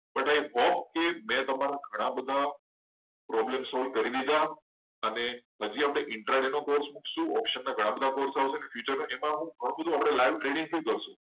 લખો ઓફ છે કે તમે આ બધા વધારે તમારા problem solve કરી દીધા છે. અને આપણે અને આપણે interest ના બહુ બધા course આવશે ત્યારે આપણે live trading કરશું.